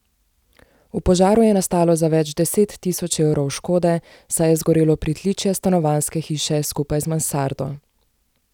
V požaru je nastalo za več deset tisoč evrov škode, saj je zgorelo pritličje stanovanjske hiše skupaj z mansardo.